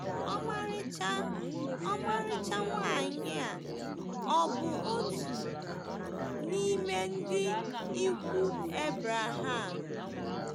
Ọmarịcha Ọmarịcha nwanyị a ọ̀ bụ otu n’ime ndị ikwu Ebreham?